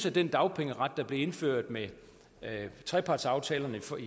at den dagpengeret der blev indført med trepartsaftalerne